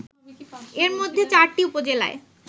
এর মধ্যে ৪টি উপজেলায়